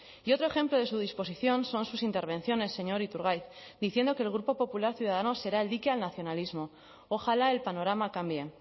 y otro ejemplo de su disposición son sus intervenciones señor iturgaiz diciendo que el grupo popular ciudadanos será el dique al nacionalismo ojalá el panorama cambie